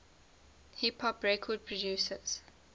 hip hop record producers